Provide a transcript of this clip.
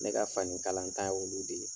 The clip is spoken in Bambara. Ne ka fani kalanta ye olu de ye.